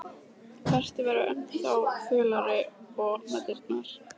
Berti verður ennþá fölari og opnar dyrnar.